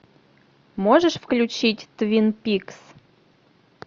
можешь включить твин пикс